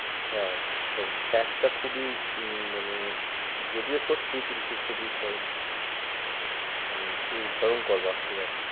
হ্যাঁ ওর fact টা খুবই উম মানে যদিও সত্যি কিন্তু খুবই মানে খুবই ভয়ঙ্কর বাপরে বাপ।